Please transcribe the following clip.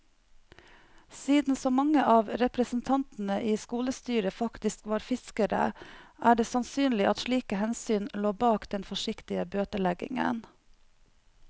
Siden så mange av representantene i skolestyret faktisk var fiskere, er det sannsynlig at slike hensyn lå bak den forsiktige bøteleggingen.